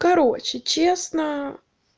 короче честно